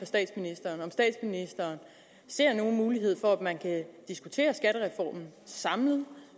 statsministeren ser nogen mulighed for at man kan diskutere skattereformen samlet